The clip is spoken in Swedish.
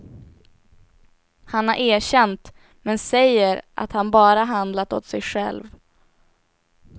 Han har erkänt, men säger att han bara handlat åt sig själv.